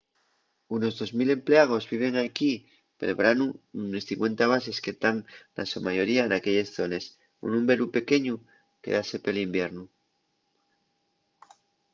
unos dos mil emplegaos viven equí pel branu nunes cincuenta bases que tán na so mayoria naquelles zones un númberu pequeñu quédase pel iviernu